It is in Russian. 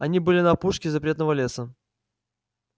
они были на опушке запретного леса